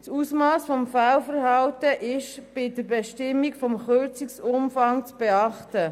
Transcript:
Das Ausmass des Fehlverhaltens ist bei der Bestimmung des Kürzungsumfangs zu beachten.